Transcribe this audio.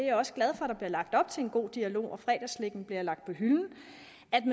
er også glad for der bliver lagt op til en god dialog og at fredagsslikket bliver lagt på hylden